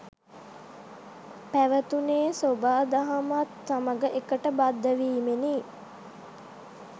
පැවතුනේ් සොබාදහමත් සමඟ එකට බද්ධ වීමෙනි